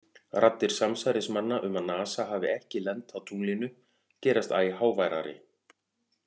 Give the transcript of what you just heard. Raddir samsærismanna um að NASA hafi ekki lent á tunglinu gerast æ háværari.